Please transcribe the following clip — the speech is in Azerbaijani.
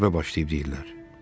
Müharibə başlayıb deyirlər.